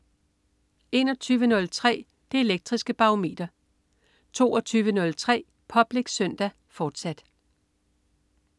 21.03 Det Elektriske Barometer 22.03 Public Søndag, fortsat